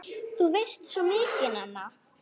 Þú veist svo mikið, Nanna!